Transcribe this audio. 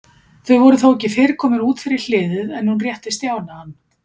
Þau voru þó ekki fyrr komin út fyrir hliðið en hún rétti Stjána hann.